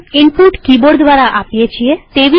સામાન્ય રીતે આપણે કિબોર્ડ દ્વારા ઈનપુટ આપીએ છીએ